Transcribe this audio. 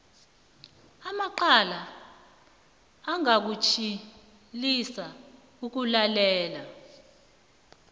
amacala ingakutshwilisa ukulalelwa